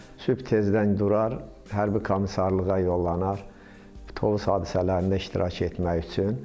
Sübh tezdən durar, hərbi komissarlığa yollanar, Tovuz hadisələrində iştirak etmək üçün.